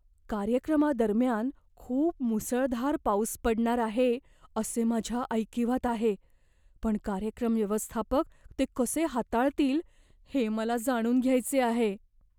कार्यक्रमादरम्यान खूप मुसळधार पाऊस पडणार आहे असे माझ्या ऐकिवात आहे, पण कार्यक्रम व्यवस्थापक ते कसे हाताळतील हे मला जाणून घ्यायचे आहे.